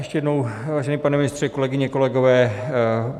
Ještě jednou, vážený pane ministře, kolegyně, kolegové.